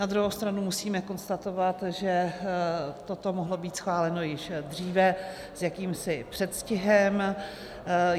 Na druhou stranu musíme konstatovat, že toto mohlo být schváleno již dříve s jakýmsi předstihem.